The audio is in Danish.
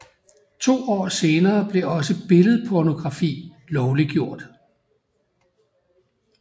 To år senere blev også billedpornografi lovliggjort